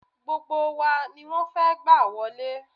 Gbogbo wa ni wọ́n fẹ́ gbà wọlé